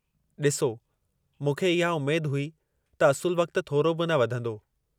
ॾिसो, मूंखे इहा उमेद हुई त असुलु वक़्त थोरो बि न वधंदो।